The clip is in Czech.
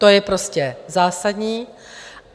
To je prostě zásadní.